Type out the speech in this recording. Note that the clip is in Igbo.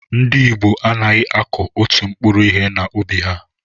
Ndị ìgbo anaghị akụ òtù mkpụrụ ihe na ubi ha